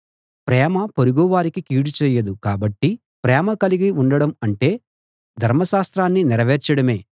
ప్రేమ పొరుగు వారికి కీడు చేయదు కాబట్టి ప్రేమ కలిగి ఉండడం అంటే ధర్మశాస్త్రాన్ని నెరవేర్చడమే